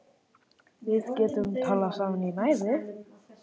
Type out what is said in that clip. Við getum talað saman í næði